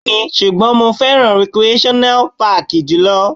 Bẹ́ẹ̀ni, ṣùgbọ́n mo fẹ́ràn recreational páàkì jù lọ.